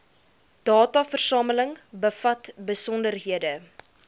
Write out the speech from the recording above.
dataversameling bevat besonderhede